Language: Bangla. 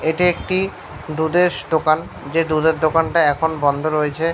এটি একটি দুধেস দোকান। যে দুধের দোকানটি এখন বন্ধ রয়েছে।